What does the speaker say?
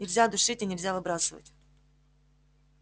нельзя душить и нельзя выбрасывать